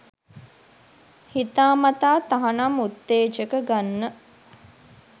හිතාමතා තහනම් උත්තේජක ගන්න